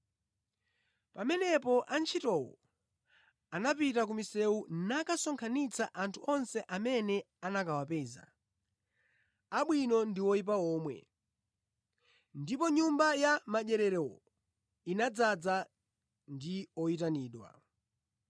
Pamenepo antchitowo anapita ku misewu nakasonkhanitsa anthu onse amene anakawapeza, abwino ndi oyipa omwe, ndipo nyumba ya madyerero inadzaza ndi oyitanidwa.